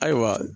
Ayiwa